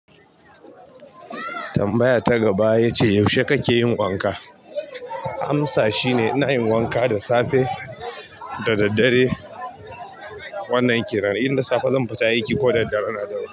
Tambaya ta gaba yace yaushe kake yin wanka? Amsa shine ina yin wanka da safe da daddare. Wannan kenan inda safe zan fita aiki ko da daddare in na dawo.